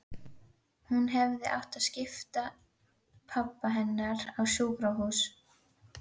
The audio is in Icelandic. Hún hefði átt að skipa pabba hennar á sjúkrahús.